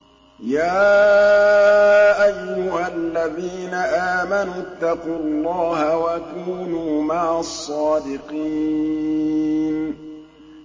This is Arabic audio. يَا أَيُّهَا الَّذِينَ آمَنُوا اتَّقُوا اللَّهَ وَكُونُوا مَعَ الصَّادِقِينَ